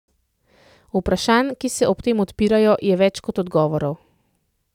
Vprašanj, ki se ob tem odpirajo, je več kot odgovorov.